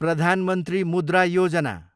Pradhan Mantri Mudra Yojana